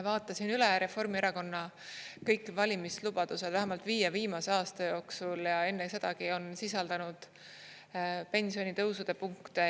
Vaatasin üle Reformierakonna kõik valimislubadused vähemalt viie viimase aasta jooksul ja enne sedagi on sisaldanud pensionitõusude punkte.